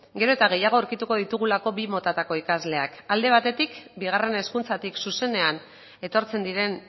gero eta gehiago aurkituko ditugulako bi motatako ikasleak alde batetik bigarren hezkuntzatik zuzenean etortzen diren